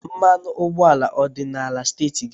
Mmanụ ụgbọala ọ dị n'ala steeti gị?